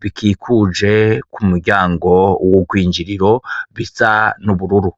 bikikuje ku muryango w'ubwinjiriro bisa ubururu.